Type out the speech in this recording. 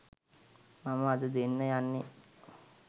මම අද දෙන්න යන්නේ.